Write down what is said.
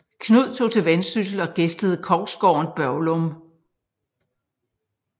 Knud tog til Vendsyssel og gæstede kongsgården Børglum